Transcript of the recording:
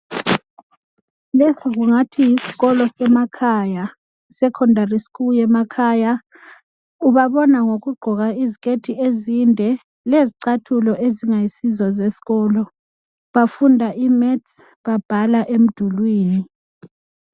Lesi kingathi yisikolo semakhaya I Secondary school yemakhaya ubabona ngokugqoka iziketi ezinde lezigcathulo ezingayisizo zesikolo bafunda I maths babhala emdulwini.